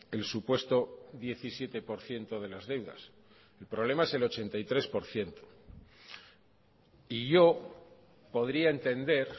el supuesto diecisiete por ciento de las deudas el problema es el ochenta y tres por ciento y yo podría entender